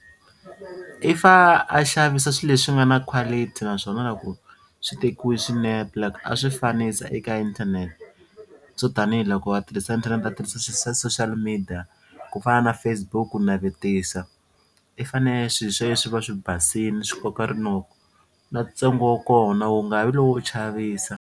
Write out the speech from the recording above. I fa a xavisa swilo leswi nga na quality naswona loko swi tekiwi swinepe like a swi fanisa eka inthanete swo tanihiloko va tirhisa inthanete a tirhisa social media ku fana na Facebook ku navetisa i fane swi swa yena swi va swi basile swi koka rinoko na ntsengo wa kona wu nga vi lowo chavisa.